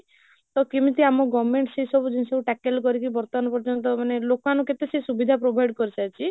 ତ କେମିତି ଆମ government ସେଇ ସବୁ ଜିନିଷକୁ tackle କରିକି ବର୍ତବାନ ପାର୍ଜୟନ୍ତ ମାନେ ଲୋକ ମାନଙ୍କୁ କେତେ ସେ ସୁବିଧା provide କରି ସାରିଛି